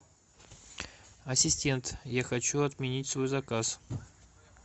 ассистент я хочу отменить свой заказ